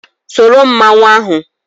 Soro mmanwụ ahụ.